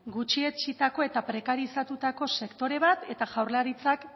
gutxietsitako eta prekarizatutako sektore bat eta jaurlaritzak